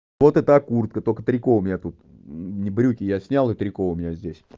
вот это куртка только трико у меня тут брюки я снял и трико у меня здесь